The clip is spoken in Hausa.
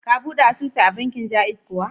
Ka buɗe asusu a bankin Ja'iz kuwa?